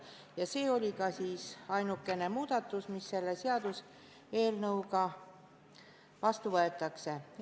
Ja see on ka ainukene muudatus, mis selle seadusega vastu võetakse.